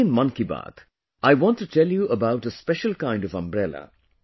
Today in ‘Mann Ki Baat’, I want to tell you about a special kind of umbrella